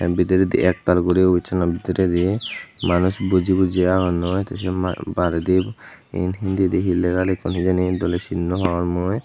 bidiredi ek taal guri obisseno bidiredi manuj boji boji agonnoi the baredi iyen hindidi he lega lekkun hijeni doley sin naw pangor mui.